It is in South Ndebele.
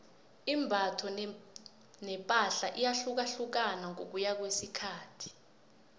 imbatho nepahla iyahlukahlukana ngokuya ngokwesikhathi